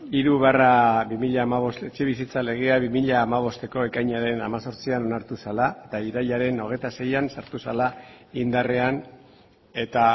hiru barra bi mila hamabost etxebizitza legea bi mila hamabosteko ekainaren hemezortzian onartu zela eta irailaren hogeita seian sartu zela indarrean eta